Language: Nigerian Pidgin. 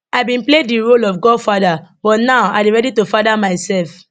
i bin play di role of godfather but now i dey ready to father myself